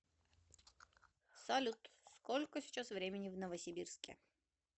салют сколько сейчас времени в новосибирске